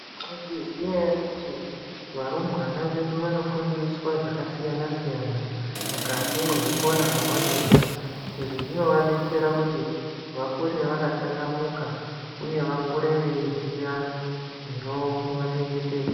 Maizviziya here kuti varumbwana vedu vanofundiswa zvakasiyana siyana mukati mezvikora mwavanoenda izvizvinova detsera kuti vakure vaka changamuka uye vakure veiziya zvino vachengetedza.